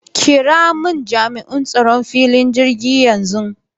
Kiramun Jami'in tsaron filin jirgin yanxu.